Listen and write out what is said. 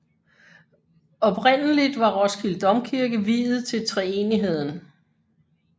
Oprindeligt var Roskilde Domkirke viet til treenigheden